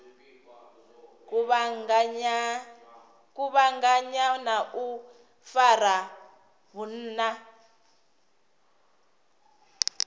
kuvhanganya na u fara vhunna